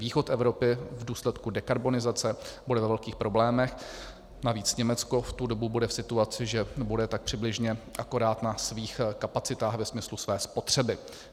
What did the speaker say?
Východ Evropy v důsledku dekarbonizace bude ve velkých problémech, navíc Německo v tu dobu bude v situaci, že bude tak přibližně akorát na svých kapacitách ve smyslu své spotřeby.